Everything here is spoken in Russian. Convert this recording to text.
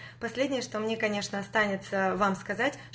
последнее что мне конечно останется вам сказать